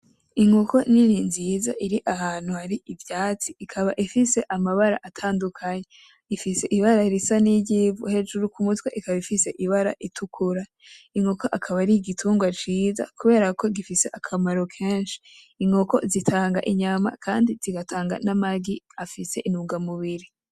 Inkoko nini nziza ir'ahantu hari ivyatsi ikaba ifise amabara atadukanye, ifise ibara risa niry'ivu hejuru k'umutwe ifise ibara ritukura, inkoko ikaba ar'igitungwa ciza kubera ko gifise akamaro kenshi, inkoko zitanga inyama zigatanga namaryi afise intungamubiri.